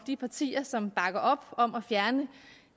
de partier som bakker op om at fjerne